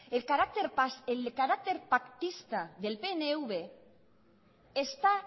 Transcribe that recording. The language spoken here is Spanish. el carácter pactista del pnv está